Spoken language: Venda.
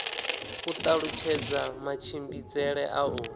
u talutshedza matshimbidzele a u